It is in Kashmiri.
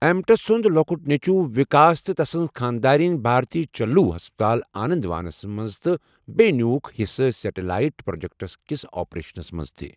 امٹس سُنٛد لۅکُٹ نیٚچو وِکاس تہٕ تسٕنٛز خاندارِنۍ بھارتی چلوو ہسپتال آنندوانس منٛز تہٕ بییٚہِ نیوکھ حِصہٕ سیٚٹالایٹ پروجیکٹس کِس آپریشن منٛز تہِ۔